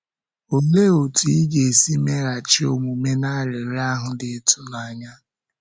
Olee otú ị ga-esi meghachi omume n’arịrịọ ahụ dị ịtụnanya?